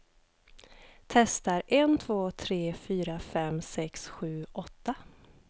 Testar en två tre fyra fem sex sju åtta.